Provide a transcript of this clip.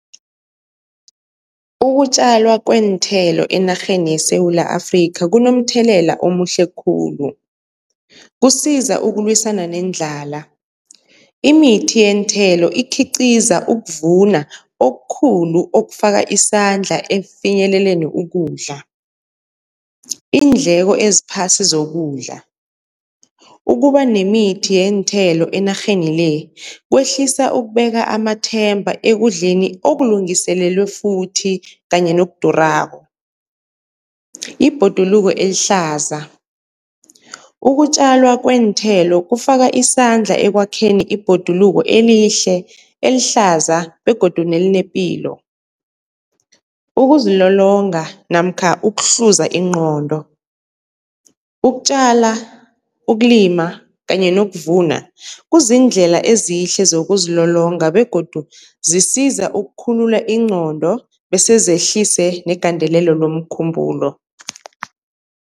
Ukutjalwa kweenthelo enarheni yeSewula Afrika kunomthelela omuhle khulu, kusiza ukulwisana nendlala, imithi yeenthelo ikhiqiza ukuvuna okukhulu okufaka isandla ekufinyeleleni ukudla. Iindleko eziphasi zokudla, ukuba nemithi yeenthelo enarheni le kwehlisa ukubeka amathemba ekudleni okulungiselelwe futhi kanye nokudurako. Ibhoduluko elihlaza, ukutjalwa kweenthelo kufaka isandla ekwakheni ibhoduluko elihle elihlaza begodu nelinepilo. Ukuzilolonga namkha ukuhluza ingqondo, ukutjala, ukulima kanye nokuvuna kuziindlela ezihle zokuzilolonga begodu zisiza ukukhulula ingqondo bese zehlise negandelelo lomkhumbulo.